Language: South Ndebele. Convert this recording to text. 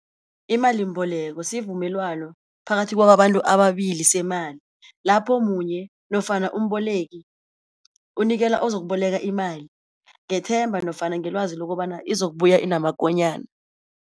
Imalimbeleko sivumelwano phakathi kwabantu ababili semali, lapho munye nofana umboleki unikela ozokuboleka imali ngethemba nofana ngelwazi lokobana izokubuya inamakonyana.